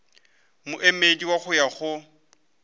moemedi wa go ya go